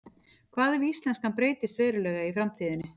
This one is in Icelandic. Hvað ef íslenskan breytist verulega í framtíðinni?